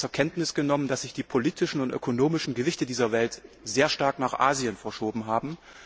Haben wir zur Kenntnis genommen, dass sich die politischen und ökonomischen Gewichte dieser Welt sehr stark nach Asien verschoben haben?